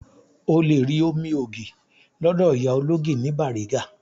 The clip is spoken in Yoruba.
O lè rí omi ògì lọ́dọ̀ ìyá ológì ní Bariga